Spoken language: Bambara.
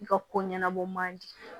I ka ko ɲɛnabɔ man di